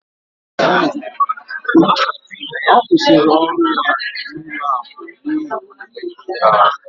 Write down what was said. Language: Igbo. Ọ kwụsịrị ọrụ ya n'ụlọaku n'ihi ọ na emekpa ya ọrụ